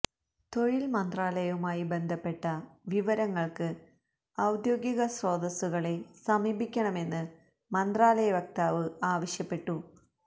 തൊഴില് മന്ത്രാലയവുമായി ബന്ധപ്പെട്ട വിവരങ്ങള്ക്ക് ഔദ്യോഗിക സ്രോതസ്സു കളെ സമീപിക്കണമെന്ന് മന്ത്രാലയ വക്താവ് ആവശ്യപ്പെട്ടു